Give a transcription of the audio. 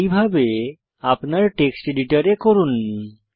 এইভাবে আপনার টেক্সট এডিটরে করুন